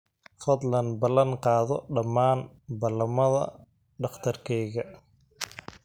fadlan ballan qaado dhammaan ballamada dhakhtarkayga